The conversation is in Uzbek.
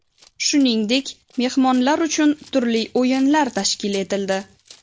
Shuningdek, mehmonlar uchun turli o‘yinlar tashkil etildi.